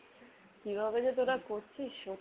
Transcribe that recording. কিভাবে যে তোরা করছিস ? সত্যি